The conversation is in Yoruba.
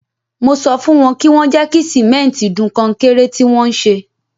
Mo sọ fún wọn kí wọ́n jẹ́ kí sìmẹ́ntì dun kọnkéré tí wọ́n ń ṣe.